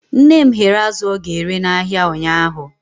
Nne m ghere azụ ọ ga-ere n'ahịa ụnyahụ.